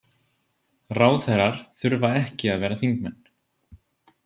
Ráðherrar þurfa ekki að vera þingmenn.